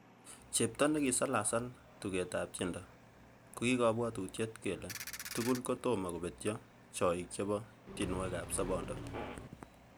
Chepto nekisalasal tugetab tiendo kokikobwotutiet kele tugul kotom kobetyo choik chebo tionwogikab sobondo.